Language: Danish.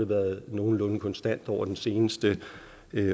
været nogenlunde konstant over den seneste